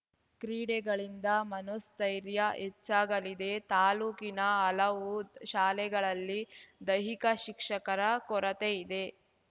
ಕ್ರೀಡೆಗಳಿಂದ ಮನೋಸ್ಥೈರ್ಯ ಹೆಚ್ಚಾಗಲಿದೆತಾಲೂಕಿನ ಹಲವು ಶಾಲೆಗಳಲ್ಲಿ ದೈಹಿಕ ಶಿಕ್ಷಕರ ಕೊರತೆ ಇದೆ